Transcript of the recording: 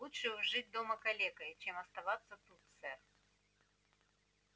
лучше уж жить дома калекой чем оставаться тут сэр